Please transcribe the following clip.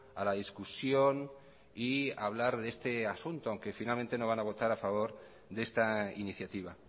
a la discusión y a hablar de este asunto aunque finalmente no van a votar a favor de esta iniciativa